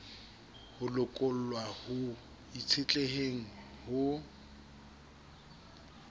ho lokollwa ho itshetleheng ho